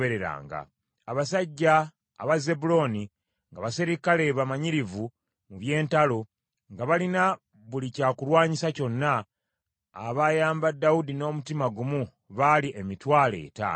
abasajja aba Zebbulooni, nga baserikale bamanyirivu mu by’entalo, nga balina buli kya kulwanyisa kyonna, abayamba Dawudi n’omutima gumu baali emitwalo etaano;